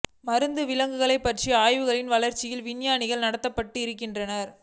மருந்து விலங்குகள் பற்றிய ஆய்வுகளின் வளர்ச்சியில் விஞ்ஞானிகள் நடத்தப்பட இருக்கின்றன